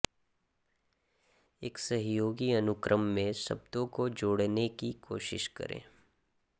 एक सहयोगी अनुक्रम में शब्दों को जोड़ने की कोशिश करें